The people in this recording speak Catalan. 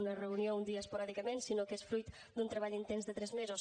una reunió un dia esporàdicament sinó que és fruit d’un treball intens de tres mesos